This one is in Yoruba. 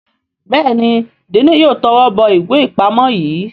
Béèni Diini yóò towó bó ìwé ipamọ yí.